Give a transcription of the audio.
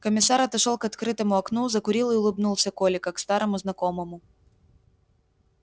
комиссар отошёл к открытому окну закурил и улыбнулся коле как старому знакомому